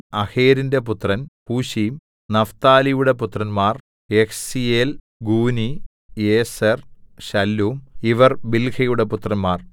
അഹേരിന്റെ പുത്രൻ ഹുശീം നഫ്താലിയുടെ പുത്രന്മാർ യഹ്സീയേൽ ഗൂനി യേസെർ ശല്ലൂം ഇവർ ബിൽഹയുടെ പുത്രന്മാർ